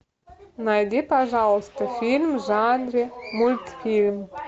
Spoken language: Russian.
найди пожалуйста фильм в жанре мультфильм